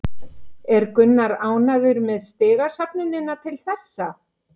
Er Gunnar ánægður með stigasöfnunina til þessa?